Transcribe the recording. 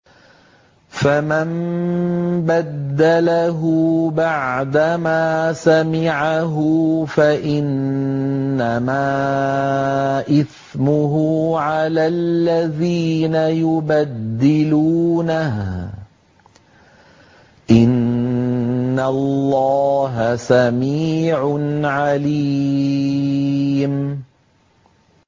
فَمَن بَدَّلَهُ بَعْدَمَا سَمِعَهُ فَإِنَّمَا إِثْمُهُ عَلَى الَّذِينَ يُبَدِّلُونَهُ ۚ إِنَّ اللَّهَ سَمِيعٌ عَلِيمٌ